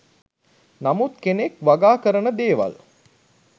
නමුත් කෙනෙක් වගා කරන දේවල්